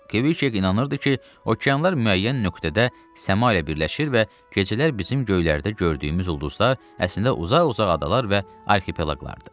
Kviçek inanırdı ki, okeanlar müəyyən nöqtədə səma ilə birləşir və gecələr bizim göylərdə gördüyümüz ulduzlar əslində uzaq-uzaq adalar və arxipelaqlardır.